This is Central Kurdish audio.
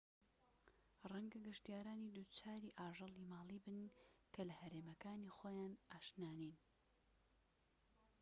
ڕەنگە گەشتیارانی دووچاری ئاژەڵی ماڵی بن کە لە هەرێمەکانی خۆیان ئاشنا نین